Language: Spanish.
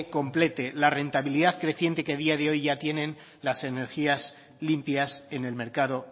complete la rentabilidad creciente que a día de hoy ya tienen las energías limpias en el mercado